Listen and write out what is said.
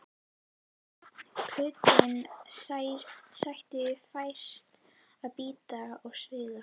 Kuldinn sætti færis að bíta og svíða.